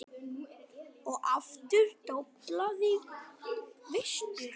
Og aftur doblaði vestur.